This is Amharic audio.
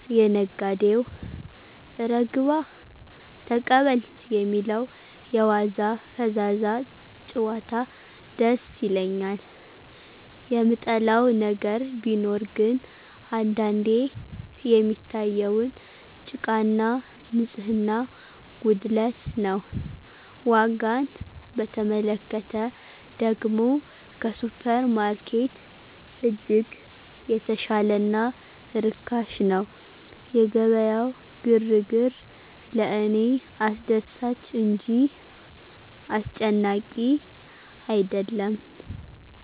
የነጋዴው "እረ ግባ"፣ "ተቀበል" የሚለው የዋዛ ፈዛዛ ጭዋታ ደስ ይለኛል። የምጠላው ነገር ቢኖር ግን አንዳንዴ የሚታየውን ጭቃና ንጽህና ጉድለት ነው። ዋጋን በተመለከተ ደግሞ ከሱፐርማርኬት እጅግ የተሻለና ርካሽ ነው። የገበያው ግርግር ለእኔ አስደሳች እንጂ አስጨናቂ አይደለም